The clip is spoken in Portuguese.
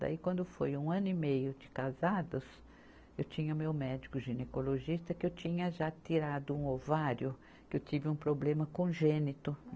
Daí, quando foi um ano e meio de casados, eu tinha meu médico ginecologista, que eu tinha já tirado um ovário, que eu tive um problema congênito.